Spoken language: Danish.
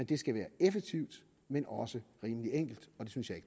det skal være effektivt men også rimelig enkelt og det synes jeg